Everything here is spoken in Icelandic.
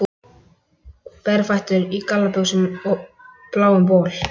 Berfættur í gallabuxum og bláum bol.